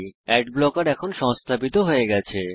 আদ ব্লকের এখন সংস্থাপিত হয়ে গেছে